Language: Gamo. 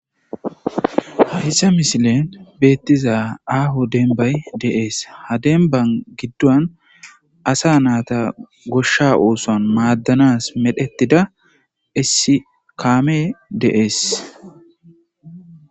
hayssa misilen beettiza aaho denbay dee'es ha denban giddon asa naata goshsha ooson maaddanas medhettida issi kaame dee'es